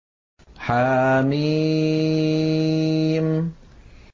حم